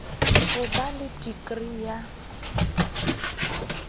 ho ba le dikri ya